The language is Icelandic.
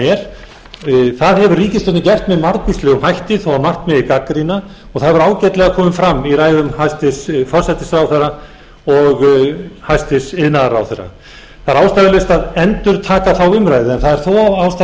er það hefur ríkisstjórnin gert með margvíslegum hætti þó að margt megi gagnrýna og það hefur ágætlega komið fram í ræðum hæstvirtur forsætisráðherra og hæstvirtur iðnaðarráðherra það er ástæðulaust að endurtaka þá umræðu en það er þó ástæða til að vekja athygli á